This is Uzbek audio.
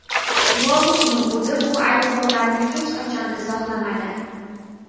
Lobovning o‘zi bu ayblovlarni hech qachon izohlamadi.